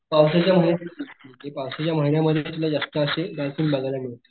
पावसाळ्याच्या महिन्यात दिसतील ते पावसाच्या महिन्या मध्ये तुला ते जास्त अशे डॉल्फिन बघायला मिळेल.